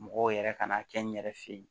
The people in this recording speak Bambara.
Mɔgɔw yɛrɛ ka n'a kɛ n yɛrɛ fe ye